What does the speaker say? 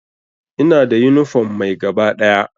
Ina da yunifom mai gaba ɗaya.